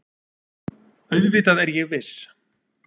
Auðvitað er ég viss.